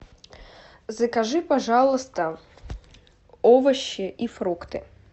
закажи пожалуйста овощи и фрукты